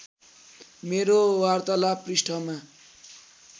मेरो वार्तालाप पृष्ठमा